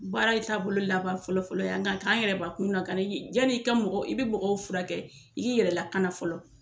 Baara ye taa bolo laban fɔlɔfɔlɔ ye nga kan an yɛrɛ bakun lakana yi yan'i ka mɔgɔ i be mɔgɔw furakɛ i yɛrɛ lakana fɔlɔ